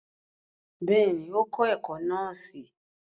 Bẹ́ẹ̀ni, o kọ ẹkọ nọọsi